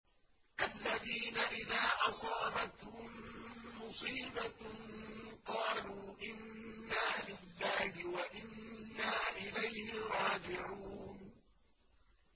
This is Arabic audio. الَّذِينَ إِذَا أَصَابَتْهُم مُّصِيبَةٌ قَالُوا إِنَّا لِلَّهِ وَإِنَّا إِلَيْهِ رَاجِعُونَ